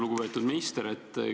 Lugupeetud minister!